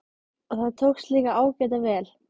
Og það tókst líka ágæta vel.